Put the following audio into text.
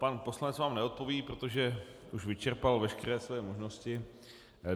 Pan poslanec vám neodpoví, protože už vyčerpal veškeré své možnosti.